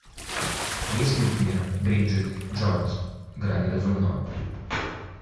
есть ли у тебя бриджит джонс грани разумного